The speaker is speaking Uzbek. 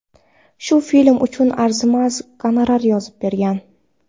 Shu film uchun arzimas gonorar yozib bergan.